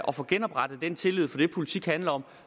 og få genoprettet den tillid for det politik handler om